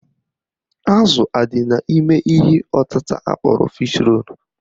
Azụ adị n'ime ihe ọtịta akpọrọ Fish role?